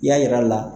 I y'a yir'a la